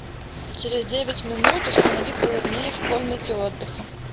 через девять минут установи холоднее в комнате отдыха